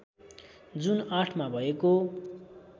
जुन ८ मा भएको